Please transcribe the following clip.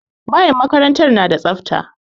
Bayin makarantar da tsafta.